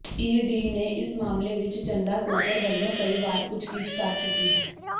ED ਨੇ ਇਸ ਮਾਮਲੇ ਵਿੱਚ ਚੰਦਾ ਕੋਚਰ ਵਲੋਂ ਕਈ ਵਾਰ ਪੁੱਛਗਿਛ ਕਰ ਚੁੱਕੀ ਹੈ